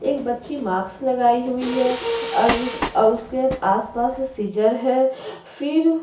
एक बच्ची मास्क लगाए हुई है और और उसके आस-पास सीज़र्स है फिर --